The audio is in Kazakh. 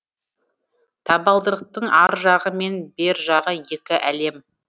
табалдырықтың ар жағы мен бер жағы екі әлем